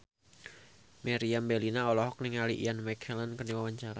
Meriam Bellina olohok ningali Ian McKellen keur diwawancara